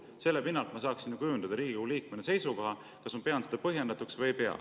Selle pinnalt ma saaksin ju kujundada Riigikogu liikmena seisukoha, kas ma pean seda põhjendatuks või ei pea.